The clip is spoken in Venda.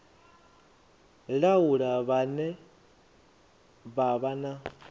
laula vhane vha vha na